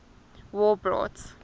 war brought